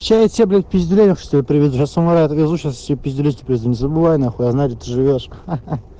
сейчас я тебе блять пиздюлей привезу раз умоляет отвезу сейчас пиздюлей и при этом не забывай нахуй я знаю где ты живёшь ха ха